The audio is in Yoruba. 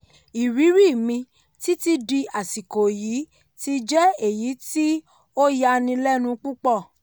ìrírí mi títí di àsìkò yìí ti jẹ́ èyí tí ó yani lẹ́nu púpọ̀.